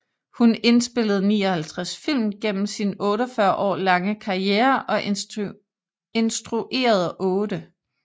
Hun indspillede 59 film gennem sin 48 år lange karriere og instruerede otte